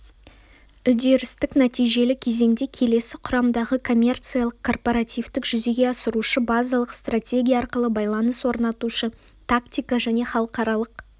үдерістік-нәтижелі кезеңде келесі құрамдағы коммерциялық корпоративтік-жүзеге асырушы базалық стратегия арқылы байланыс орнатушы тактика және халықаралық